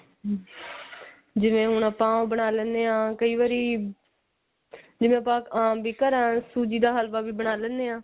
ਜਿਵੇਂ ਹੁਣ ਆਪਾਂ ਬਣਾ ਲੇਣੇ ਆ ਕਈ ਵਾਰੀ ਜਿਵੇਂ ਆਪਾਂ ਅਹ ਵੀ ਘਰਾਂ ਸੂਜੀ ਦਾ ਹਲਵਾ ਵੀ ਬਣਾ ਲੇਣੇ ਆ